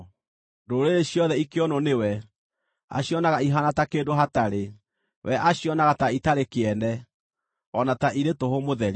Ndũrĩrĩ ciothe ikĩonwo nĩwe, acionaga ihaana ta kĩndũ hatarĩ; we acionaga ta itarĩ kĩene, o na ta irĩ tũhũ mũtheri.